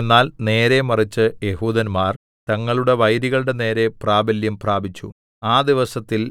എന്നാൽ നേരെ മറിച്ച് യെഹൂദന്മാർ തങ്ങളുടെ വൈരികളുടെ നേരെ പ്രാബല്യം പ്രാപിച്ചു ആ ദിവസത്തിൽ